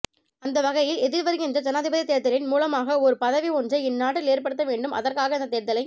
அந்தவகையில் எதிர்வருகின்ற ஜனாதிபதித் தேர்தேர்தலின் மூலமாக ஒரு பதிவு ஒன்றை இந்நாட்டில் ஏற்படுத்த வேண்டும் அதற்காக இந்த தேர்தலை